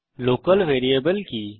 local variable কি